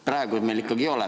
Praegu ikkagi ei ole.